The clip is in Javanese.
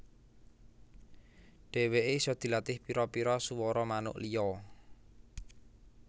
Dèwèké isa dilatih pira pira suwara manuk liya